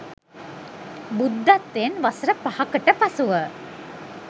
බුද්ධත්වයෙන් වසර 5 කට පසුව